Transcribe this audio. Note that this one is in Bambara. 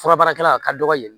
Fura baarakɛla a ka dɔgɔ yen